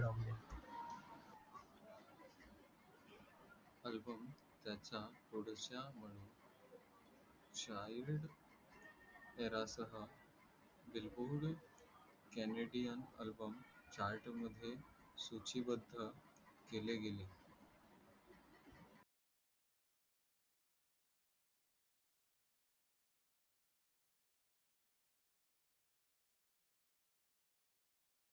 album त्याचा थोड child तेराश बिलकुल केनेडियन ALBUM चार्ट मध्ये सुचीबाध केले गेले